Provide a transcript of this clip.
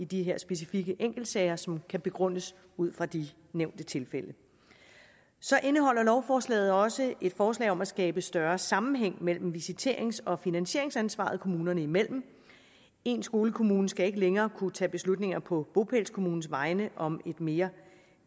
de specifikke enkeltsager som kan begrundes ud fra de nævnte tilfælde så indeholder lovforslaget også et forslag om at skabe større sammenhæng mellem visiterings og finansieringsansvaret kommunerne imellem en skolekommune skal ikke længere kunne tage beslutninger på bopælskommunens vegne om et mere